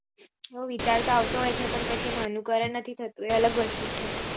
હવ વિચાર તો આવતો હોય છે પણ પછી એનો અનુકરણ નથી થતો એ અલગ વસ્તુ છે